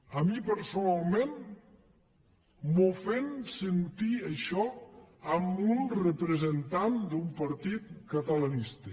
a mi personalment m’ofèn sentir això en un representant d’un partit catalanista